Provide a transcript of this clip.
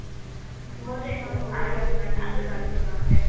মইটো এখন সৰু এটা দুকান দিও বুলি ভাবিছো গাওঁতে